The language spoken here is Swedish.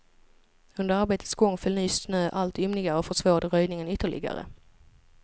Under arbetets gång föll ny snö allt ymnigare och försvårade röjningen ytterligare.